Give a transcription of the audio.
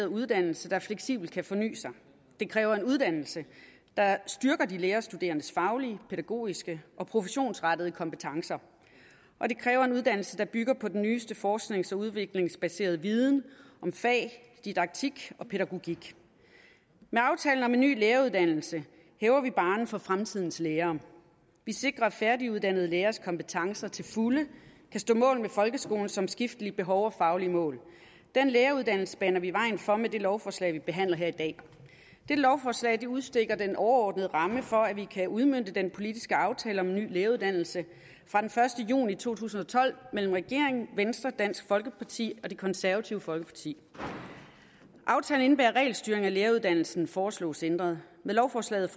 uddannelse der fleksibelt kan forny sig det kræver en uddannelse der styrker de lærerstuderendes faglige pædagogiske og professionsrettede kompetencer og det kræver en uddannelse der bygger på den nyeste forsknings og udviklingsbaserede viden om fag didaktik og pædagogik med aftalen om en ny læreruddannelse hæver vi barren for fremtidens lærere vi sikrer at færdiguddannede læreres kompetencer til fulde kan stå mål med folkeskolens omskiftelige behov og faglige mål den læreruddannelse baner vi vejen for med det lovforslag vi behandler her i dag det lovforslag udstikker den overordnede ramme for at vi kan udmønte den politiske aftale om en ny læreruddannelse fra den første juni to tusind og tolv mellem regeringen venstre dansk folkeparti og det konservative folkeparti aftalen indebærer at regelstyring af læreruddannelsen foreslås ændret med lovforslaget